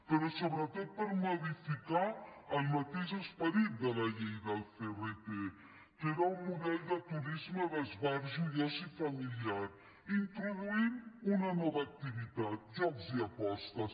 però sobretot per modificar el mateix esperit de la llei del crt que era un model de turisme d’esbarjo i oci familiar introduint una nova activitat jocs i apostes